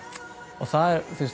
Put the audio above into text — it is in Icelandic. og það